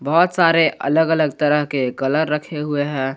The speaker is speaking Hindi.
बहुत सारे अलग अलग तरह के कलर रखे हुए हैं।